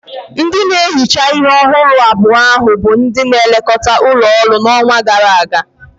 Ndị na-ehicha ihe ọhụrụ abua ahu bụ ndị na-elekọta ụlọ ọrụ n'ọnwa gara aga.